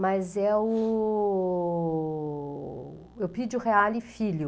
Mas é o... Eupidio o Reale filho.